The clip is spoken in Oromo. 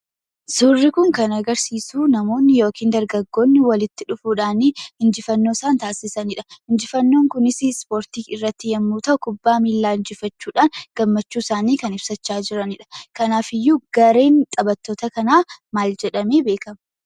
Suurri kun kan agarsiisuu namoonni yookiin dargaggoonni walitti dhufuudhaanii injifannoo isaan taasisanidha. Injifannoon kunisii ispoortii irratti yommuu ta'u kubbaa miilaa injifachuudhaan gammmachuu isaanii kan ibsachaa jiranidha. Kanaafiyyuu gareen taphattoota kanaa maal jedhamee beekkama?